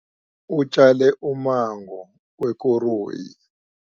Utjale ummango wekoroyi.